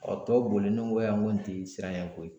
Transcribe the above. Ɔ tɔ boli ne ko yan ko nin tɛ siranyanko ye